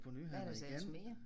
Hvad er der så ellers mere?